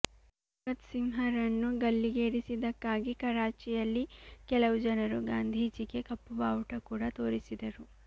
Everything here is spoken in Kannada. ಭಗತ್ಸಿಂಹರನ್ನು ಗಲ್ಲಿಗೇರಿಸಿದ್ದಕ್ಕಾಗಿ ಕರಾಚಿಯಲ್ಲಿ ಕೆಲವು ಜನರು ಗಾಂಧೀಜಿಗೆ ಕಪ್ಪು ಬಾವುಟ ಕೂಡ ತೋರಿಸಿದರು